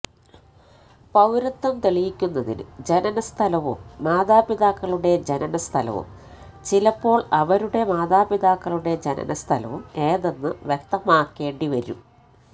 പൌരത്വം തെളിയിക്കുന്നതിന് ജനനസ്ഥലവും മാതാപിതാക്കളുടെ ജനനസ്ഥലവും ചിലപ്പോള് അവരുടെ മാതാപിതാക്കളുടെ ജനനസ്ഥലവും ഏതെന്ന് വ്യക്തമാക്കേണ്ടിവരും